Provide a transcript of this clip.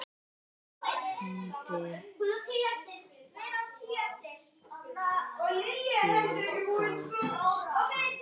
Nefndi ég þá stað.